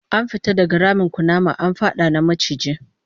An fita daga ramin kunama, an fada na maciji